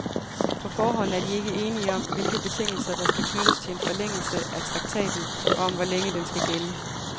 På forhånd er de ikke enige om, hvilke betingelser, der skal knyttes til en forlængelse af traktaten, og om hvor længe den skal gælde.